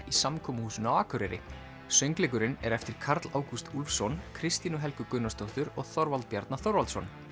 í samkomuhúsinu á Akureyri söngleikurinn er eftir Karl Ágúst Úlfsson Kristínu Helgu Gunnarsdóttur og Þorvald Bjarna Þorvaldsson